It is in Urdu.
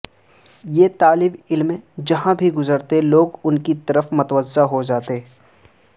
یہ طالبعلم جہاں بھی گزرتے لوگ ان کی طرف متوجہ ہو جاتے